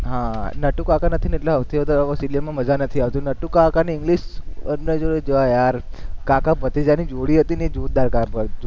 હમ નટુકાકા નથી ને એટલે સૌથી વધારે serial માં મજા નથી આવતી, નટુકાકાની english એટલે યાર , કાકા-ભત્રીજાની જોડી હતી ને એ જોરદાર